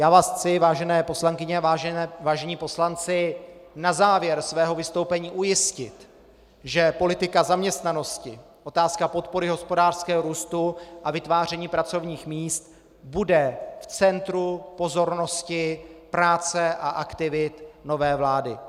Já vás chci, vážené poslankyně a vážení poslanci, na závěr svého vystoupení ujistit, že politika zaměstnanosti, otázka podpory hospodářského růstu a vytváření pracovních míst bude v centru pozornosti práce a aktivit nové vlády.